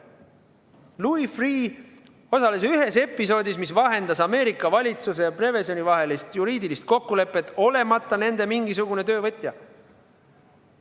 Louis Freeh osales ühes episoodis, mille käigus vahendati Ameerika Ühendriikide valitsuse ja Prevezoni vahelist juriidilist kokkulepet, olemata seejuures nende mingisugune töövõtja.